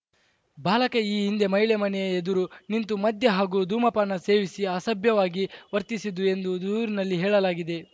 ಬಾಲಕ ಈ ಹಿಂದೆ ಮಹಿಳೆ ಮನೆ ಎದುರು ನಿಂತು ಮದ್ಯ ಹಾಗೂ ಧೂಮಪಾನ ಸೇವಿಸಿ ಅಸಭ್ಯವಾಗಿ ವರ್ತಿಸಿದ್ದ ಎಂದು ದೂರಿನಲ್ಲಿ ಹೇಳಲಾಗಿದೆ